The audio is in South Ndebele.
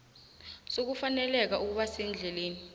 sokufaneleka ukuba sendleleni